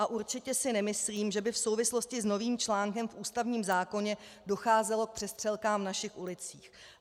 A určitě si nemyslím, že by v souvislosti s novým článkem v ústavním zákoně docházelo k přestřelkám v našich ulicích.